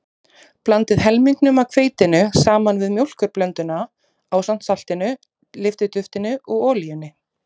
Blandið helmingnum af hveitinu saman við mjólkurblönduna ásamt saltinu, lyftiduftinu og olíunni.